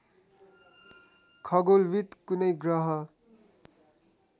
खगोलविद् कुनै ग्रह